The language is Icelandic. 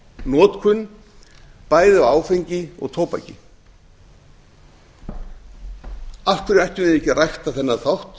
notkun bæði á áfengi og tóbaki af hverju ættum við ekki að rækta þennan þátt